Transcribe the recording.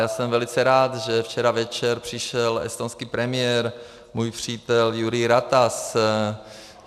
Já jsem velice rád, že včera večer přišel estonský premiér, můj přítel Jüri Ratas.